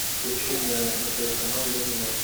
включи мне на тв канал ля минор